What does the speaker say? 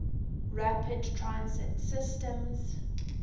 rapid transit systems